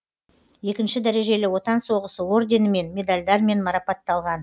екінші дәрежелі отан соғысы орденімен медальдармен марапатталған